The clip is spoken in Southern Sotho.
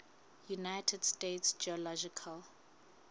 united states geological